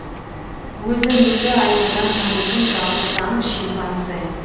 өзін өзі айнадан танитын жалғыз аң шимпанзе